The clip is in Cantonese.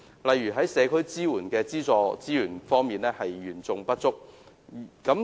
例如，社區支援的資助資源嚴重不足。